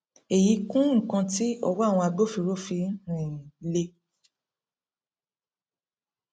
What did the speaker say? èyí kún nnkan tí ọwọ awọn agbofinro ọ fi um lè